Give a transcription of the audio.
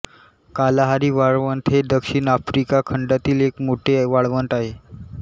Kalahari वाळवंट हे दक्षिण आफ्रिका खंडातील एक मोठे वाळवंट आहे